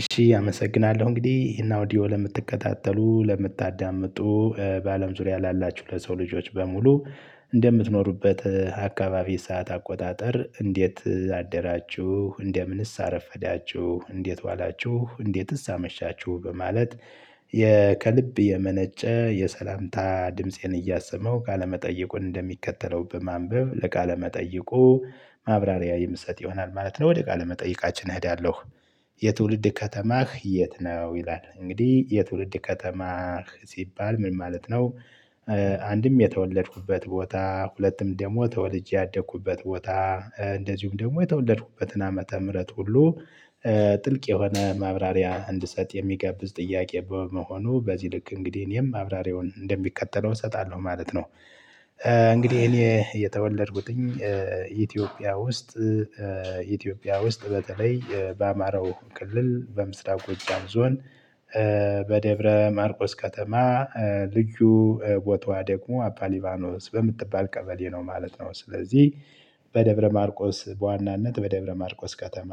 እሺ አመሰግናለሁ እንግዲህ እና ኦዲዮ ለምትከታተሉ ለምታዳምጡ በአለም ዙሪያ ላላችሁ ለሰው ልጆች በሙሉ እንደምትኖሩበት አካባቢ ሰዓት አቆጣጠር እንዴት አደራችሁ እንደምንስ አረፈዳችሁ እንዴት ዋላችሁ እንዴትስ አመሻችሁ በማለት ከልብ የመነጨ የሰላምታ ድምፄን እያሰመሁ ቃለመጠየቁን እንደሚከተለው በማንበብ ለቃለመጠየቁ ማብራሪያ የምሰጥ ይሆናል ማለት ነው ወደ ቃለ መጠይቃችን እሄዳለሁ። የትውልድ ከተማህ የት ነው ይላል እንግዲህ የትውልድ ከተማ ሲባል ምን ማለት ነው? አንድም የተወለድኩበት ቦታ ሁለትም ደግሞ ተወልጄ ያደኩበት ቦታ እንደዚሁም ደግሞ የተወለድኩበትን ዓመተ ምህረት ሁሉ ጥልቅ የሆነ ማብራሪያ እንድሰጥ የሚጋብዝ ጥያቄ በመሆኑ በዚህ ልክ እንግዲህ የኔም ማብራሪያውን እንደሚከተለው እሰጣለሁ ማለት ነው። እንግዲህ እኔ የተወለድኩት ኢትዮጵያ ውስጥ ኢትዮጵያ ውስጥ በተለይ በአማራው ክልል በምስራቅ ጎጃም ዞን በደብረ ማርቆስ ከተማ ልዩ ቦታዋ ደግሞ አባሊባኖስ በምትባል ቀበሌ ነው ማለት ነው። ስለዚህ በደብረ ማርቆስ በዋናነት በደብረ ማርቆስ ከተማ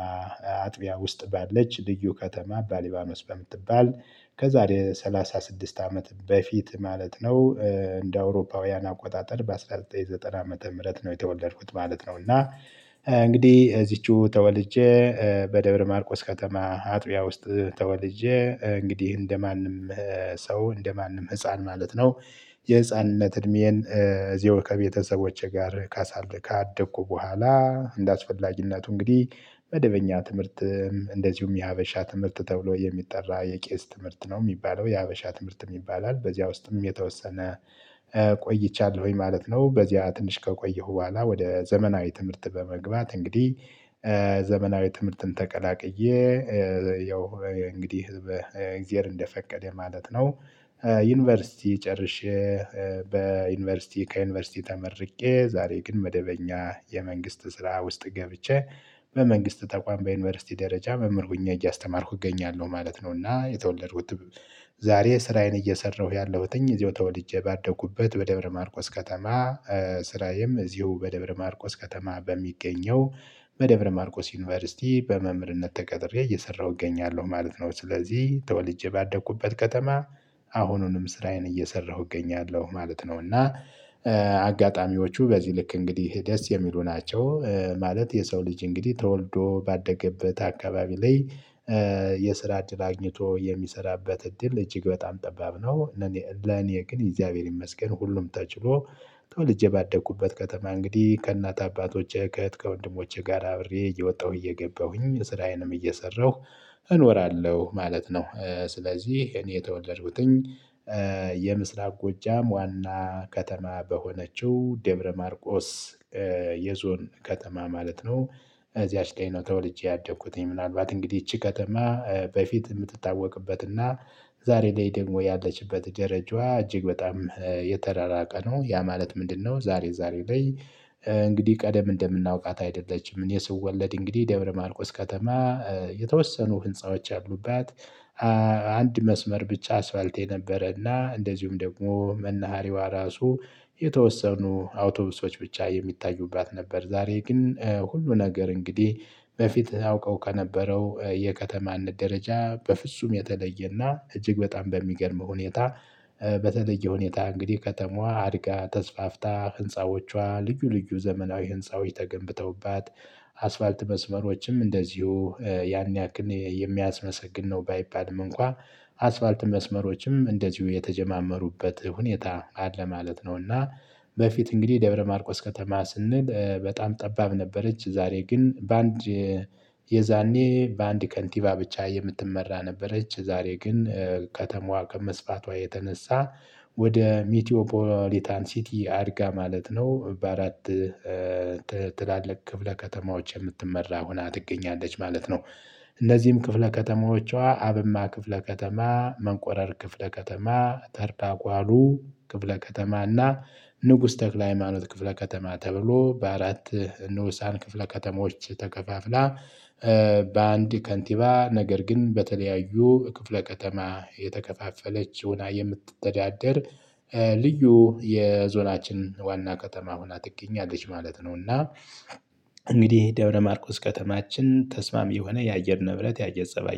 አጥቢያ ውስጥ ባለች ልዩ ከተማ አባሊባኖስ በምትባል ከዛሬ ሰላሳ ስድስት አመት በፊት ማለት ነው እንደ አውሮፓውያን አቆጣጠር በአንድ ሺህ ዘጠኝ መቶ ዘጠና ዓመተ ምህረት ነው የተወለድኩት ማለት ነው። እና እንግዲህ እዚችው ተወልጄ በደብረ ማርቆስ ከተማ አጥቢያ ውስጥ ተወልጄ እንግዲህ እንደማንም ሰው እንደማንም ህፃን ማለት ነው። የህፃንነት እድሜዬን እዚው ከቤተሰቦቼ ጋር ካደኩ በኋላ እንደአስፈላጊነቱ እንግዲህ መደበኛ ትምህርት እንደዚሁም የሀበሻ ትምህርት ተብሎ የሚጠራ የቄስ ትምህርት ነው የሚባለው የሀበሻ ትምህርትም ይባላል በዚያ ውስጥም የተወሰነ ቆይቻለሁኝ ማለት ነው። በዚያ ትንሽ ከቆየሁ በኋላ ወደ ዘመናዊ ትምህርት በመግባት እንግዲህ ዘመናዊ ትምህርትን ተቀላቅዬ ያው እንግዲህ እግዜር እንደፈቀደ ማለት ነው። ዩኒቨርሲቲ ጨርሼ በዩኒቨርሲቲ ከዩኒቨርሲቲ ተመርቄ ዛሬ ግን መደበኛ የመንግስት ስራ ውስጥ ገብቼ በመንግስት ተቋም በዩኒቨርሲቲ ደረጃ መምህር ሁኜ እያስተማርኩ እገኛለሁ ማለት ነው። እና የተወለድኩትም ዛሬ ስራዬን እየሰራሁ ያለሁትኝ እዚሁ ተወልጄ ባደኩበት በደብረማርቆስ ከተማ ስራዬም እዚሁ በደብረማርቆስ ከተማ በሚገኘው በደብረ ማርቆስ ዩኒቨርሲቲ በመምህርነት ተቀጥሬ እየሰራሁ እገኛለሁ ማለት ነው። ስለዚህ ተወልጄ ባደኩበት ከተማ አሁኑንም ስራዬን እየሰራሁ እገኛለሁ ማለት ነው። እና አጋጣሚዎቹ በዚህ ልክ እንግዲህ ደስ የሚሉ ናቸው ማለት የሰው ልጅ እንግዲህ ተወልዶ ባደገበት አካባቢ ላይ የስራ እድል አግኝቶ የሚሰራበት እድል እጅግ በጣም ጠባብ ነው። ለኔ ግን እግዚአብሔር ይመስገን ሁሉም ተችሎ ተወልጄ ባደኩበት ከተማ እንግዲህ ከእናት አባቶቼ ከእህት ከወንድሞቼ ጋር አብሬ እየወጣሁ እየገባሁኝ ስራዬንም እየሰራሁ እኖራለሁ ማለት ነው። ስለዚህ እኔ የተወለድኩትኝ የምስራቅ ጎጃም ዋና ከተማ በሆነችው ደብረ ማርቆስ የዞን ከተማ ማለት ነው። እዚያች ቀዬ ነው ተወልጄ ያደኩትኝ ምናልባት እንግዲህ ይቺ ከተማ በፊት የምትታወቅበትና ዛሬ ላይ ደግሞ ያለችበት ደረጃዋ እጅግ በጣም የተራራቀ ነው ያ ማለት ምንድነው? ዛሬ ዛሬ ላይ እንግዲህ ቀደም እንደምናውቃት አይደለችም። እኔ ስወለድ እንግዲህ ደብረማርቆስ ከተማ የተወሰኑ ህንፃዎች ያሉባት አንድ መስመር ብቻ አስፋልት የነበረና እንደዚሁም ደግሞ መናሃሪያዋ ራሱ የተወሰኑ አውቶቢሶች ብቻ የሚታዩባት ነበር። ዛሬ ግን ሁሉ ነገር እንግዲህ በፊት አውቀው ከነበረው የከተማነት ደረጃ በፍጹም የተለየና እጅግ በጣም በሚገርም ሁኔታ በተለየ ሁኔታ እንግዲህ ከተማዋ አድጋ ተስፋፍታ ህንፃዎቿ ልዩ ልዩ ዘመናዊ ህንፃዎች ተገንብተውባት። አስፋልት መስመሮችም እንደዚሁ ያን ያክል የሚያስመሰግን ነው ባይባልም እንኳ አስፋልት መስመሮችም እንደዚሁ የተጀማመሩበት ሁኔታ አለ ማለት ነውና። በፊት እንግዲህ ደብረ ማርቆስ ከተማ ስንል በጣም ጠባብ ነበረች። ዛሬ ግን በአንድ የዛኔ በአንድ ከንቲባ ብቻ የምትመራ ነበረች ዛሬ ግን ከተማዋ ከመስፋቷ የተነሳ ወደ ሚቲዮፖሊታን ሲቲ አድጋ ማለት ነው። በአራት ክፍለ ከተማዎች የምትመራ ሆና ትገኛለች ማለት ነው። እነዚህም ክፍለ ከተማዎቿ አብማ ክፍለ ከተማ መንቆረር ክፍለ ከተማ ተርዳጓሉ ክፍለ ከተማና ንጉስ ተክለ ሃይማኖት ክፍለ ከተማ ተብሎ በአራት ንዑሳን ክፍለ ከተሞች ተከፋፍላ በአንድ ከንቲባ ነገር ግን በተለያዩ ክፍለ ከተማ የተከፋፈለች ሁና የምትተዳደር ልዩ የዞናችን ዋና ከተማ ሆና ትገኛለች ማለት ነው። እና እንግዲህ ደብረ ማርቆስ ከተማችን ተስማሚ የሆነ የአየር ንብረት የአየር ፀባይ